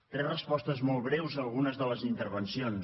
tres respostes molt breus a algunes de les intervencions